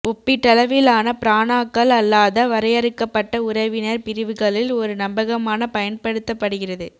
ஒப்பீட்டளவிலான பிரனாக்கள் அல்லாத வரையறுக்கப்பட்ட உறவினர் பிரிவுகளில் ஒரு நம்பகமான பயன்படுத்தப்படுகிறது